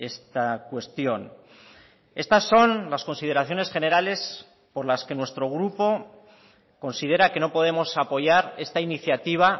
esta cuestión estas son las consideraciones generales por las que nuestro grupo considera que no podemos apoyar esta iniciativa